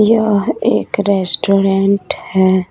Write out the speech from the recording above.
यह एक रेस्टोरेंट है।